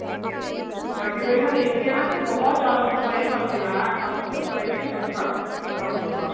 ਹਾਂਜੀ ਕਈ ਮੈਂ ਦੇਖੇ ਐ ਨਾ ਕਿ ਬਹੁਤ ਜਿਆਦਾ spray ਕਰਦੇ ਐ ਐ ਬਸ spray ਤੇ ਜਿਵੇਂ ਖੜ੍ਹ ਕਰਾਉਂਦੇ ਨੇ ਵਾਲ